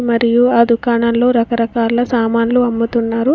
మరియు ఆ దుకాణంలో రకరకాల సామాన్లు అమ్ముతున్నారు.